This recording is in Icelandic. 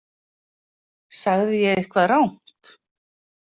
Sagði ég eitthvað rangt?